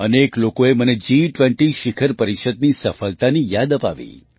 અનેક લોકોએ મને જી20 શિખર પરિષદની સફળતાની યાદ અપાવી